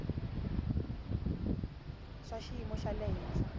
swa xiyimo xa le henhla